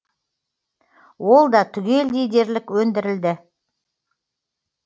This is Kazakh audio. ол да түгелдей дерлік өндірілді